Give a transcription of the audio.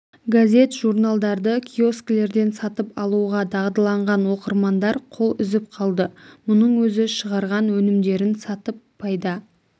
газет-журналдарды киоскілерден сатып алуға дағдыланған оқырмандар қол үзіп қалды мұның өзі шығарған өнімдерін сатып пайда